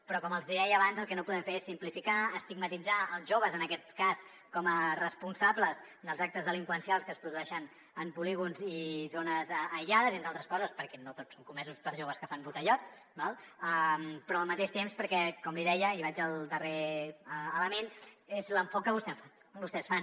però com els deia abans el que no podem fer és simplificar estigmatitzar els joves en aquest cas com a responsables dels actes delinqüencials que es produeixen en polígons i zones aïllades entre altres coses perquè no tots són comesos per joves que fan botellot però al mateix temps perquè com li deia i vaig al darrer element és l’enfocament que vostès fan